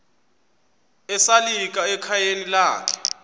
esalika ekhayeni lakhe